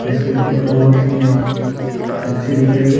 इसकी फोन बहुत ही अच्छी दिख रही है।